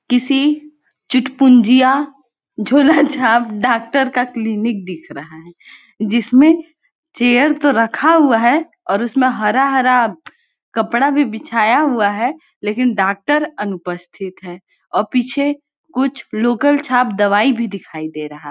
किसी चुटपुँजिया झोला छाप डाक्टर का क्लिनिक दिख रहा है जिसमे चेयर तो रखा हुआ है और उसमे हरा-हरा कपड़ा भी बिछाया हुआ है लेकिन डाक्टर अनुपस्थित है अ पीछे कुछ लोकल छाप दवाई भी दिखाई दे रहा--